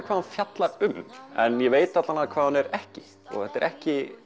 hvað hún fjallar um en ég veit hvað hún er ekki og þetta er ekki